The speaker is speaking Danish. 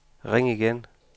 ring igen